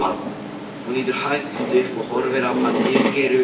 Hún lítur hægt upp og horfir á hann yfir gleraugun.